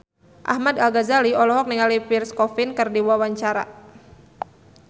Ahmad Al-Ghazali olohok ningali Pierre Coffin keur diwawancara